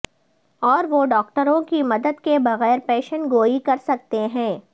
اور وہ ڈاکٹروں کی مدد کے بغیر پیشن گوئی کر سکتے ہیں